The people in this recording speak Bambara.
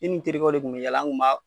Ne ni n terikɛw de kun bɛ yaala, an kun b'a